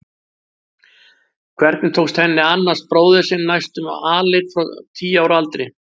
Hvernig tókst henni að annast bróður sinn næstum alein frá tíu ára aldri?